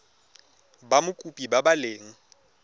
ba mokopi ba ba leng